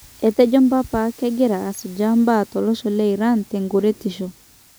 Etejo mpapa kegiraa asujaa mbaa tolosho le Iran ''tenkuretisho.''